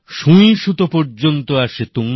বাংলায় তার একটি অত্যন্ত গুরুত্বপূর্ণ কবিতা আছে